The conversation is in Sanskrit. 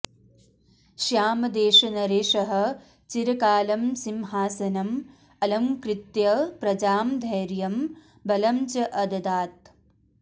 श्यामदेशनरेशः चिरकालं सिंहासनम् अलङ्कृत्य प्रजां धैर्यं बलं च अददात्